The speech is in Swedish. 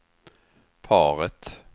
paret